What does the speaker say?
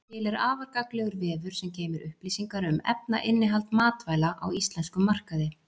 Til er afar gagnlegur vefur sem geymir upplýsingar um efnainnihald matvæla á íslenskum markaði.